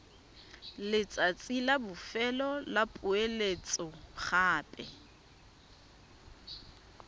letsatsi la bofelo la poeletsogape